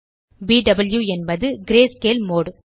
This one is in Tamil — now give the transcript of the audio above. பியூ என்பது கிரேஸ்கேல் மோடு